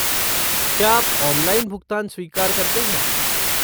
क्या आप ऑनलाइन भुगतान स्वीकार करते हैं?